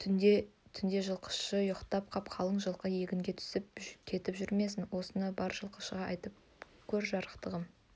түнде жылқышы ұйықтап қап қалың жылқы егінге түсіп кетіп жүрмесін осыны бар жылқышыға айта көр жарықтығым